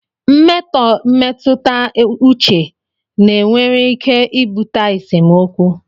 Mmetọ mmetụta uche na nwere ike ibute esemokwu